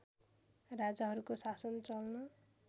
राजाहरूको शासन चल्न